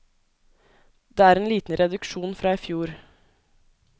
Det er en liten reduksjon fra i fjor.